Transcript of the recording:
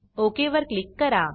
okay वर click करा